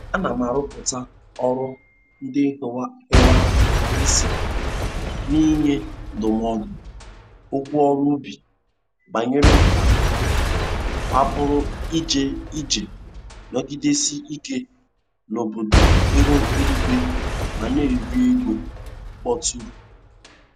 Ana m arọpụta ọrụ ndị hiwara isi n'nye ndụmọdụ okwu ọrụ ubi banyere ka a pụrụ iji iji nọgidesie ike n'bọdụ ihu eluigwe ma na-eri ego mkpọtụrụ.